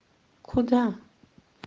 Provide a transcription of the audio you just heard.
куда